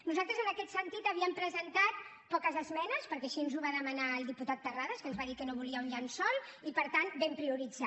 nosaltres en aquest sentit havíem presentat poques esmenes perquè així ens ho va demanar el diputat terrades que ens va dir que no volia un llençol i per tant vam prioritzar